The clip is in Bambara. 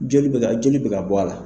Joli bɛ ka joli bɛ ka bɔ a la.